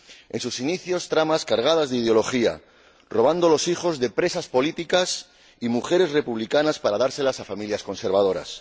en sus inicios, tramas cargadas de ideología, donde se robaba a los hijos de presas políticas y mujeres republicanas para dárselos a familias conservadoras.